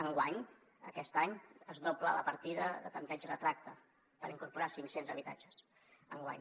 enguany aquest any es dobla la partida de tanteig i retracte per incorporar cinc cents habitatges enguany